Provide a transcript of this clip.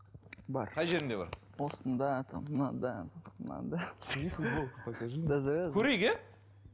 бар қай жеріңде бар осында там мынада мынада көрейік иә